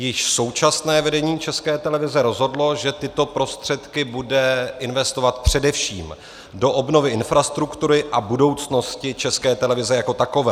Již současné vedení České televize rozhodlo, že tyto prostředky bude investovat především do obnovy infrastruktury a budoucnosti České televize jako takové.